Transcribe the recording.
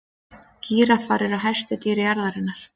gíraffar eru hæstu dýr jarðarinnar